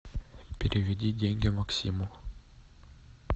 переведи деньги максиму